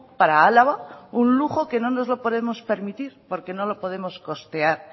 para álava un lujo que no nos lo podemos permitir porque no lo podemos costear